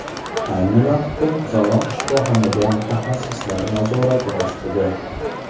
Ayni vaqtda qizaloq shifoxonada mutaxassislar nazorati ostida.